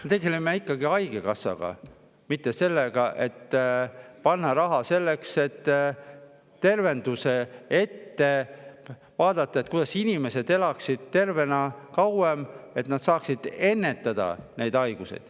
Me tegeleme ikkagi haigekassaga, mitte sellega, et panna raha tervisesse ja vaadata ettepoole, kuidas inimesed elaksid tervena kauem, et nad saaksid haigusi ennetada.